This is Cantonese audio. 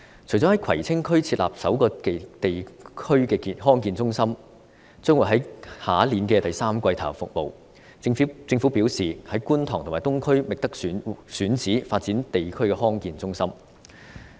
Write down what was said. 除了在葵青區設立首個地區康健中心，可於明年第三季投入服務外，政府表示已在觀塘和東區覓得選址發展地區康健中心。